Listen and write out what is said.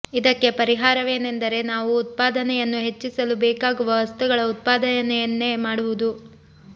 ಇದಕ್ಕೆ ಪರಿಹಾರವೇನೆಂದರೆ ನಾವು ಉತ್ಪಾದನೆಯನ್ನು ಹೆಚ್ಚಿಸಲು ಬೇಕಾಗುವ ವಸ್ತುಗಳ ಉತ್ಪಾದನೆಯನ್ನೇ ಮಾಡುವುದು